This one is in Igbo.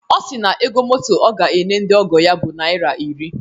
Ọ si na ego moto ọ ga-enye ndị ọgọ ya bụ naira iri.